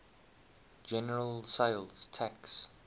general sales tax